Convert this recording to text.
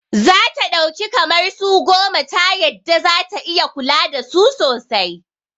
Zata ɗauki kamar su goma ta yadda zata iya kula dasu sosai